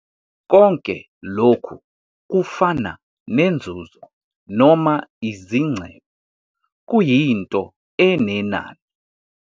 Konke lokhu kufana nenzuzo noma izingcebo - kuyinto enenani.